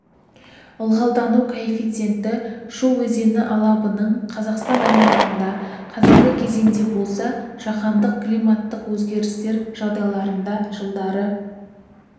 ылғалдану коэффициенті шу өзені алабының қазақстан аймағында қазіргі кезеңде болса жаһандық климаттық өзгерістер жағдайларында жылдары